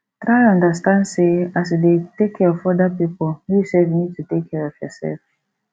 try understand sey as you dey take care of oda pipo you sef need to take care of yourself